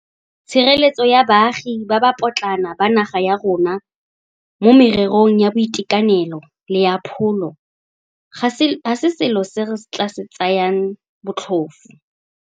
Tshireletsego ya baagi ba ba potlana ba naga ya rona mo mererong ya boitekanelo le ya pholo ga se selo se re tla se tsayang botlhofo.